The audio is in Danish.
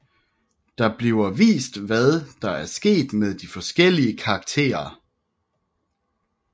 Der bliver vist hvad der er sket med de forskellige karakterer